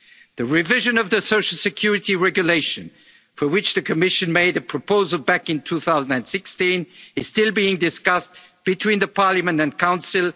seasonal workers. The revision of the Social Security Regulation for which the Commission made a proposal back in 2016 is still being discussed between Parliament